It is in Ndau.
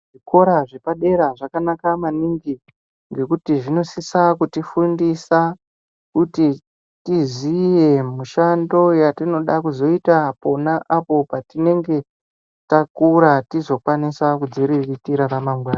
Zvikora zvepadera zvakanaka maningi ngekuti zvinosisa kutifundisa kuti tiziye mushando yatinoda kuzoita pona apo patinenge takura tizokwanisawo kudziriritira ramangwana.